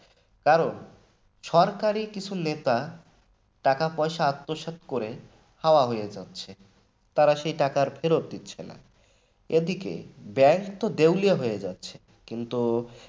কারণ সরকারি কিছু নেতা টাকা পয়সা আত্মসাৎ করে হাওয়া হয়ে যাচ্ছে তারা সেই টাকা ফেরত দিচ্ছে না। এদিকে bank তো দেউলিয়া হয়ে যাচ্ছে